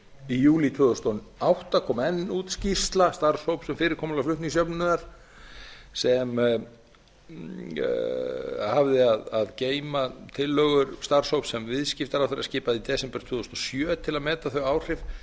í júlí tvö þúsund og átta kom enn út skýrsla starfshóps um fyrirkomulag flutningsjöfnunar sem hafði að geyma tillögur starfshóps sem viðskiptaráðherra skipaði í desember tvö þúsund og sjö til að meta þau áhrif